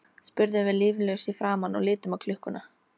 spurðum við líflaus í framan og litum á klukkuna.